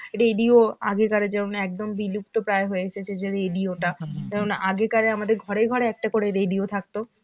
radio, আগেকারের যেমন একদম বিলুপ্তপ্রায় হয়ে এসেছে যে radio টা যেমন আগেকার আমাদের ঘরে ঘরে একটা করে radio থাকতো.